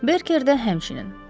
Berkedə həmçinin.